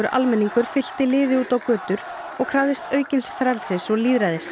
almenningur fylkti liði út á götur og krafðist aukins frelsis og lýðræðis